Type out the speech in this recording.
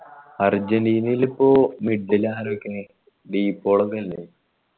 അര്ജന്റീനയിൽ ഇപ്പൊ mid ൽ ആരൊക്കെ D പോളൊക്കെയില്ലേ